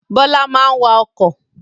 Bọlá máa ń wà ọkọ̀